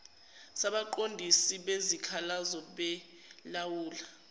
sabaqondisi bezikhalazo belawula